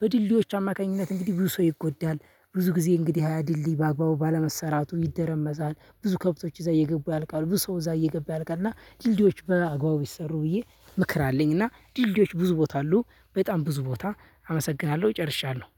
በድልድዮች አማካኝነት እንግዲህ ብዙ ሰው ይጎዳል ብዙ ጊዜ እንግዲህ ያ ድልልኝ በአግባቡ ባለመሰራቱ ይደረመዛል ብዙ ከብቶች እዛ እየገቡ ያልቃል ብዙ ሰው እዛ እየገቡ ያልቃል። እና ድልድዮች በአግባቡ ይሰሩ ብዬ ምክር አለኝ። እና ድልድዮች ብዙ ቦታ አሉ በጣም ብዙ ቦታ አመሰግናለሁ ጨርሻለሁ።